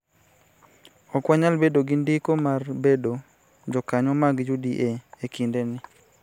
Ok wanyal bedo gi ndiko mar bedo jokanyo mag UDA e kindeni